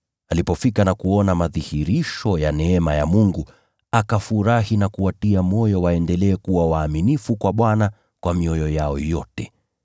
Alipofika na kuona madhihirisho ya neema ya Mungu, akafurahi na kuwatia moyo waendelee kuwa waaminifu kwa Bwana kwa mioyo yao yote.